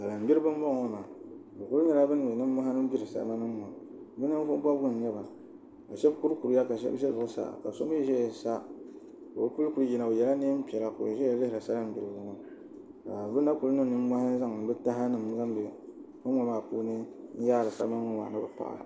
Salin gbiribi n boŋo maa bi ku nyɛla bin niŋ nimmohi n gbiri salima nim ŋo bi ninvuɣu bobgu n nyɛba ka shab kuri kuriya ka shab ʒɛ zuɣusaa ka so mii ʒɛya sa ka o puli ku yina o yɛla neen piɛla ka o ʒɛya lihiri salin gbiribi ŋo ka bi na ku niŋ nimmohi n zaŋdi bi taha nim timdi kom ŋo maa puuni n yaari salima nim ni bi paɣi